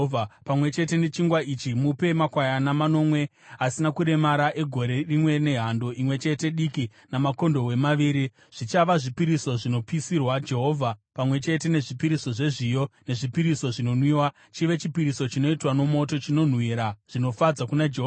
Pamwe chete nechingwa ichi mupe makwayana manomwe asina kuremara egore rimwe nehando imwe chete diki namakondobwe maviri. Zvichava zvipiriso zvinopisirwa Jehovha, pamwe chete nezvipiriso zvezviyo nezvipiriso zvinonwiwa, chive chipiriso chinoitwa nomoto chinonhuhwira zvinofadza kuna Jehovha.